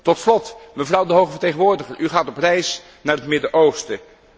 Tot slot, mevrouw de hoge vertegenwoordiger, u gaat op reis naar het Midden Oosten.